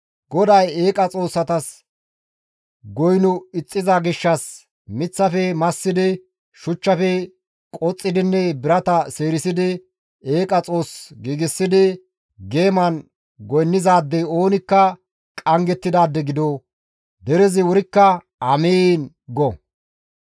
«GODAY eeqa xoossatas goyno ixxiza gishshas, miththafe massidi shuchchafe qoxxidinne birata seerisidi eeqa xoos giigsidi geeman goynnizaadey oonikka qanggettidaade gido!» Derezi wurikka, «Amiin!» go.